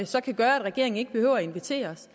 så kan gøre at regeringen ikke behøver at invitere os